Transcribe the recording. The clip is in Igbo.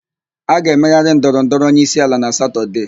A ga-emegharị ndọrọndọrọ onyeisiala na Satọdee.